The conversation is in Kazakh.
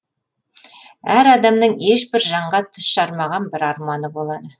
әр адамның ешбір жанға тіс жармаған бір арманы болады